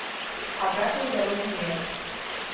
обратной дороги нет